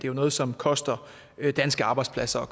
jo noget som koster danske arbejdspladser og